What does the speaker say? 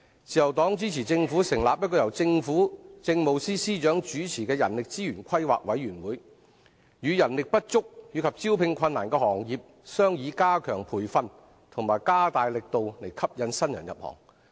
自由黨支持政府成立由政務司司長主持的人力資源規劃委員會，與人力不足及招聘困難的行業商議加強培訓及加大力度吸引新人入行。